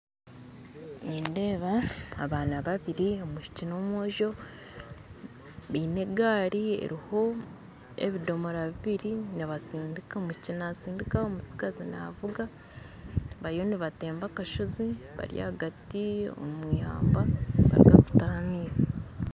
Nindeeba abaana babiri omwishiki n'omwojo baine egaari eriho ebidomora bibiri nibatsindika omwishiki natsindika omutsigazi naavuga bariyo nibatemba akashozi bari ahagati omu eihamba nibaruga kutaha amaizi